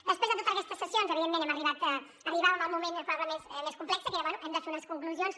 després de totes aquestes sessions arribàvem al moment probablement més complex que era bé hem de fer unes conclusions